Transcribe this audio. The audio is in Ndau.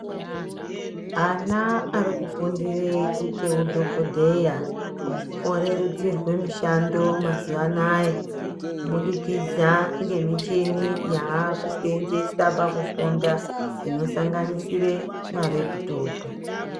Ana ari kufundire kuite hu dhokodheya orerutsirwa kuite mishando mazuva anaya ku budikidza ne michini yaaku senzeswa paku funda ino sanganisire ma reputopu.